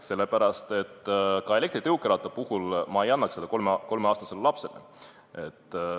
Samas, elektritõukeratast ma ei annaks 3-aastasele lapsele.